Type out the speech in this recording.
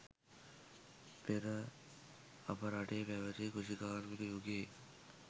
පෙර අප රටේ පැවැති කෘෂි කාර්මික යුගයේ